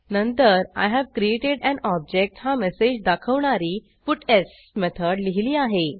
नंतर I have created an object हा message दाखवणारी पट्स मेथड लिहिली आहे